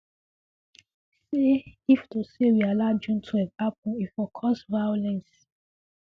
say if to say we allow june twelve happen e for cause violence